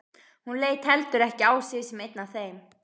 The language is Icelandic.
Hún leit heldur ekki á sig sem einn af þeim.